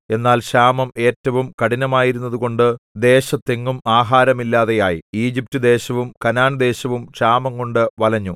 എന്നാൽ ക്ഷാമം ഏറ്റവും കഠിനമായിരുന്നതുകൊണ്ട് ദേശത്തെങ്ങും ആഹാരമില്ലാതെയായി ഈജിപ്റ്റുദേശവും കനാൻദേശവും ക്ഷാമംകൊണ്ടു വലഞ്ഞു